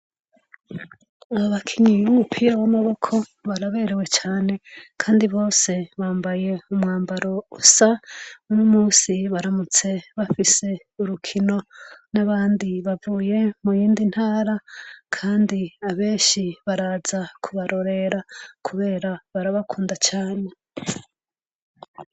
Aba bakinyi b'umupira w'amaboko baraberew cane Kandi bose bambaye umwambaro usa. Uno musi baramutse bafise urukino n'abandi bavuye niyindi ntara Kandi abenshi Baraza kubarorera kubera barabakunda cane.